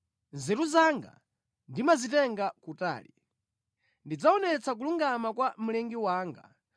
Nzeru zanga ndimazitenga kutali; ndidzaonetsa kulungama kwa Mlengi wanga.